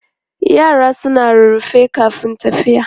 Yara suna rarrafe kafin tafiya.